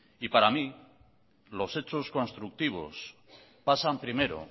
y para mí los hechos constructivos pasan primero